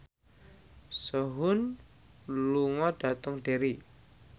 Sehun lunga dhateng Derry